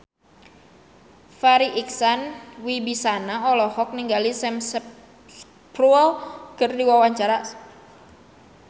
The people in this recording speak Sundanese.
Farri Icksan Wibisana olohok ningali Sam Spruell keur diwawancara